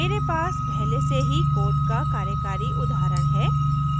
मेरे पास पहले से ही code का कार्यकारी उदाहरण है